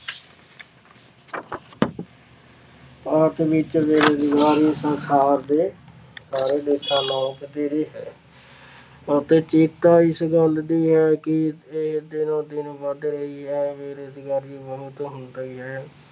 ਆਸ ਵਿੱਚ ਬੇਰੁਜ਼ਗਾਰੀ ਸੰਸਾਰ ਦੇ ਸਾਰੇ ਦੇਸ਼ਾਂ ਵਧੇਰੇ ਹੈ ਅਤੇ ਚਿੰਤਾ ਇਸ ਗੱਲ ਦੀ ਹੈ ਕਿ ਇਹ ਦਿਨੋ ਦਿਨ ਵੱਧ ਰਹੀ ਹੈ। ਬੇਰੁਜ਼ਗਾਰੀ ਹੁੰਦੀ ਹੈ।